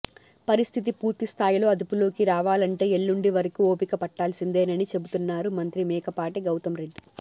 పరిస్థితి పూర్తి స్థాయిలో అదుపులోకి రావాలంటే ఎల్లుండి వరకు ఒపిక పట్టాల్సిందేనని చెబుతున్నారు మంత్రి మేకపాటి గౌతంరెడ్డి